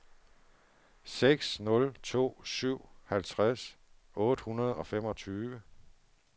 seks nul to syv halvtreds otte hundrede og femogtyve